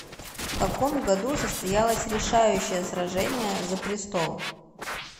в каком году состоялось решающее сражение за престол